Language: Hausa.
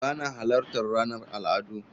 Ba na halartar ranar al'adu